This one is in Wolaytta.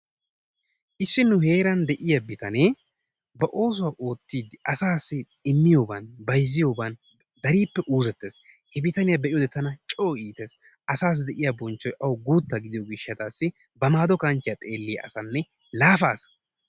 Issi nu heeran de'iya bitanee ba oosuwa oottiiddi asaassi immiyoban, bayzziyoban keehi uuzettees. He bitaniya be'iyode tana co iitees. Asaassi de'iya bonchchoy awu guutta gidiyo gishshaassi ba maaddo kanchchiya xeelliya asanne laafa asa.